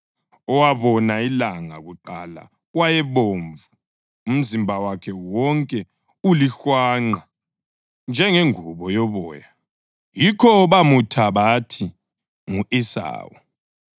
Owabona ilanga kuqala wayebomvu, umzimba wakhe wonke ulihwanqa njengengubo yoboya; yikho bamutha bathi ngu-Esawu.